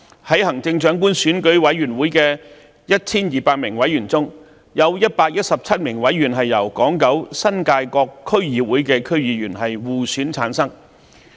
在行政長官選舉委員會的 1,200 名委員中，有117名委員由香港島、九龍及新界各區議會的區議員互選產生。